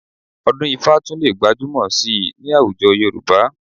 Ọdún-ifá tún lè gbajúmọ̀ síi ní àwùjọ Yorùbá